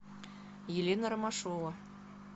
елена ромашова